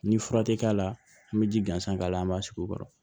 Ni fura tɛ k'a la an bɛ ji gansan k'a la an b'a sigi o kɔrɔ